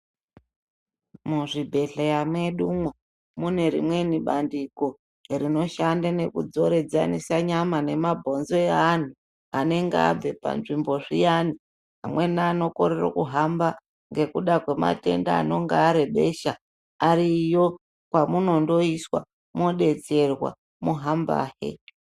Muzvibhedhleya mwedumwo mune rimweni bandiko rinoshande nekudzoradzanise nyama nemabuonzo eanhu anenge abve panzvimbo zviyani amweni anokorere kuhamba ngekuda kwematenda anenge arebesha ariyo kwamundiiswa mwodetserwa mwohambahe.